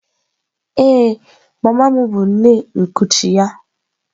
Ee, mama m bụ nne nkuchi ya.